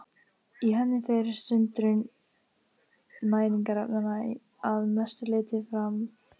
Í henni fer sundrun næringarefnanna að mestu leyti fram.